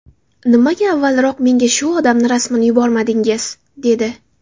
Nimaga avvalroq menga shu odamni rasmini yubormadingiz?” dedi.